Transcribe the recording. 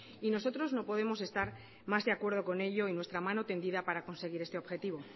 y nosotros no podemos estar más de acuerdo con ello y nuestra mano tendida para conseguir este objetivo